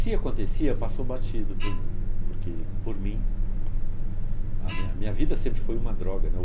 Se acontecia, passou batido por mim, porque, por mim, a minha minha vida sempre foi uma droga, né?